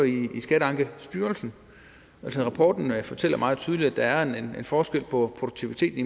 i skatteankestyrelsen rapporten fortæller meget tydeligt at der er en forskel på produktiviteten